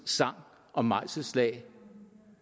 sang og mejselslag